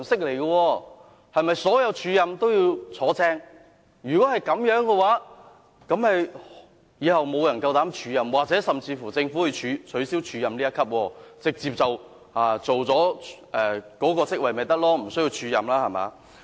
如果所有的署任均會真除，往後便沒有人敢擔當署任，政府甚或要取消署任安排，直接讓員工擔任該職位，對嗎？